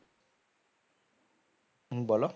বলো